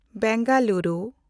Bengaluru